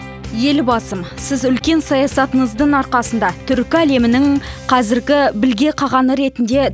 елбасым сіз үлкен саясатыңыздың арқасында түркі әлемінің қазіргі білге қағаны ретінде